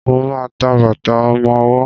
Mo ma ń ta bàtà ọmọwọ́.